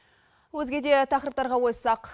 өзгеде тақырыптарға ойыссақ